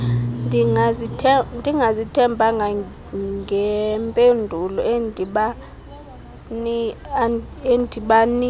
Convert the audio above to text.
ndingazithembanga ngempendulo endibanika